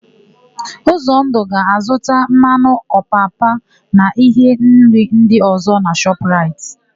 Ụzọndụ ga-azụta mmanụ ọpapa na íhé nri ndị ọ̀zọ́ na Shọp raịt.